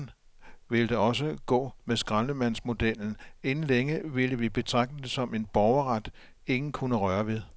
Sådan ville det også gå med skraldemandsmodellen, inden længe ville vi betragte det som en borgerret ingen kunne røre ved.